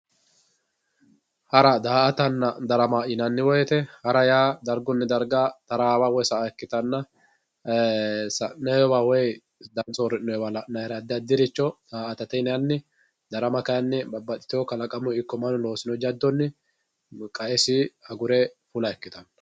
Hara daa`atana darama yinani woyite hara yaa darguni darga taraawa woyi sa`a ikitana sa`moyiwa woyi darga sorinoyiwa la`nayre adi adiricho daa`atate yinani darama kayini babaxitewo kalaqamuni iko manu losinore jaddoni kaesi agure fula ikitanno.